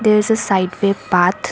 There is a sideway path